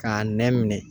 K'a nɛ minɛ